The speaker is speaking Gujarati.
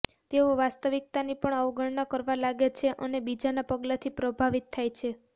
તેઓ વાસ્તવિકતાની પણ અવગણના કરવા લાગે છે અને બીજાનાં પગલાંથી પ્રભાવિત થાય છે